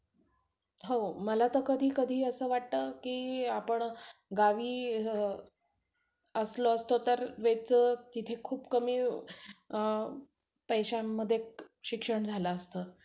हो बरोबर आहे. अरे आता हा back ला जर राहिला तर, लागला तर, scholarship नाय भेटतं आपल्याला सर्व clear लागतं त्याच्यासाठी.